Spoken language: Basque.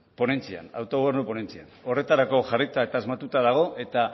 ponentzian autogobernu ponentzian horretarako jarrita eta asmatuta dago eta